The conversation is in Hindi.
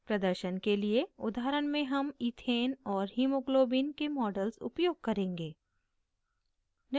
प्रदर्शन के लिए उदाहरण में हम ethane और hemoglobin के models उपयोग करेंगे